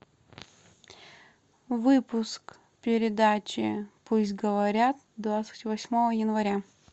выпуск передачи пусть говорят двадцать восьмого января